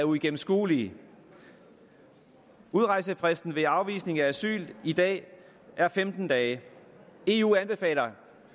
uigennemskuelige udrejsefristen ved afvisning af asyl i dag femten dage eu anbefaler